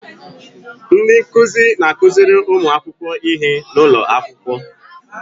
Ndị nkụzi na-akụziri ụmụ akwụkwọ ihe n'ụlọ akwụkwọ.